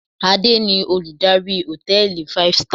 Adé ni Olùdarí hòtẹ́ẹ̀lì five star.